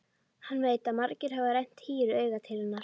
Hann veit að margir hafa rennt hýru auga til hennar.